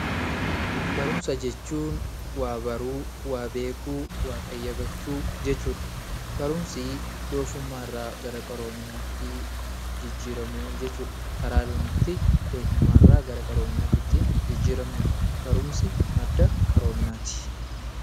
Barumsa jechuun waa beekuu, waa baruu fi waa qayyabachuu jechuudha. Barumsa jechuun doofummaa irraa gara qaroominaatti bahuu jechuudha. Barumsi madda qaroominaatti.